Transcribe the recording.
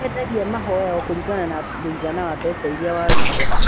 nĩmendagĩa mahoya o kũringana na mũigana wa mbeca iria waruta